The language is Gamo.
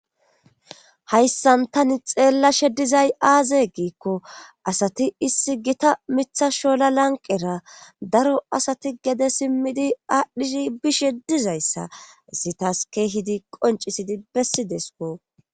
Hayssan tani xeellashe dizay aaze giikko asati issi gita mitha shola lanqera daro asati gede simmidi aadhdhizi bishe dizayssa issitas keehidi qoncisidi bessi deesko